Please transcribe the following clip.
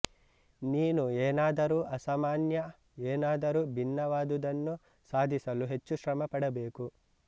ನೀನು ಏನಾದರೂ ಅಸಾಮಾನ್ಯ ಏನಾದರೂ ಭಿನ್ನವಾದುದನ್ನು ಸಾಧಿಸಲು ಹೆಚ್ಚು ಶ್ರಮ ಪಡಬೇಕು